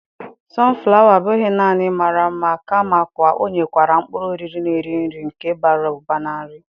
sunflower abụghị nanị mara mma kamakwa ọ nwekwara mkpụrụ oriri na-eri nri nke bara ụba na nri.